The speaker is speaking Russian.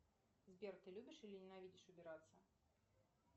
сбер ты любишь или ненавидишь убираться